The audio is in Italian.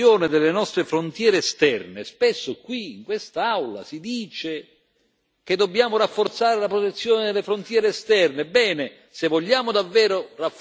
Se vogliamo rafforzare la protezione delle nostre frontiere esterne, spesso qui, in quest'Aula, si dice che dobbiamo rafforzare la protezione delle frontiere esterne.